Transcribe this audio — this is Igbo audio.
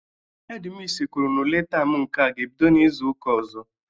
Hedi misi kwuru na ule taam nke a ga-ebido n'izu ụka ọzọ.